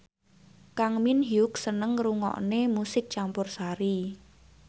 Kang Min Hyuk seneng ngrungokne musik campursari